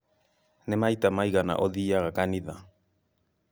Nĩ maita maigana ũthiiaga kanitha?